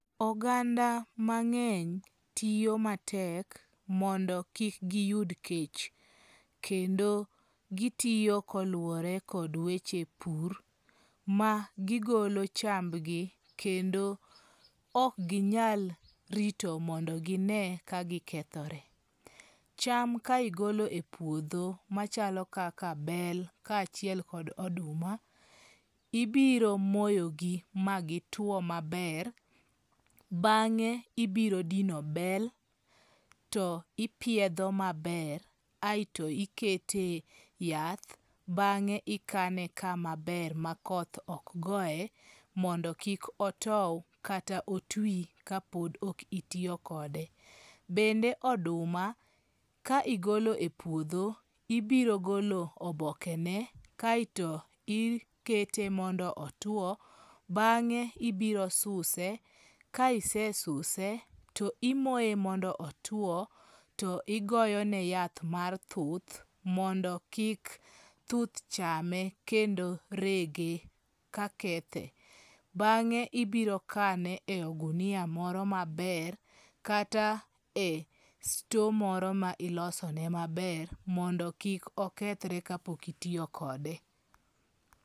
Oganda mang'eny tiyo matek mondo kik giyud kech. Kendo gitiyo kolueore kod weche pur ma gigolo chambgi kendo ok ginyal rito mondo gine ka gikethore. Cham ka igolo e puodho machalo kaka bel ka achiel kod oduma, ibiro moyogi ma gituo maber. Bang'e ibiro dino bel to ipiedho maber aeto ikete yath. Bang'e ikane kama ber ma koth ok goe mondo kik otow kata otwi ka pod ok itiyo kode. Bende oduma ka igolo e puodho ibiro golo oboke ne kaeto ikete mondo otuo bang'e ibiro suse. Ka ise suse to imoye mondo otuo to igoyone yath mar thuth mondo kik thuth chame kendo rege ka kethe. Bang'e ibiro kane e ogunia moro maber kata e store moro ma ilosone maber mondo kith okethre ka pok itiyo kode.